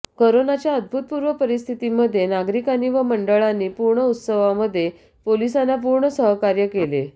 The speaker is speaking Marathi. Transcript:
करोनाच्या अभूतपूर्व परिस्थितीमध्ये नागरिकांनी व मंडळांनी पूर्ण उत्सवामध्ये पोलिसांना पूर्ण सहकार्य केले